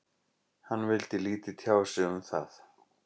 Hann vildi lítið tjá sig um það.